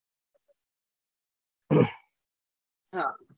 હા